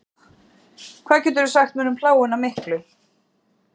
Hvað geturðu sagt mér um pláguna miklu?